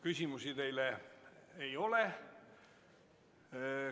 Küsimusi teile ei ole.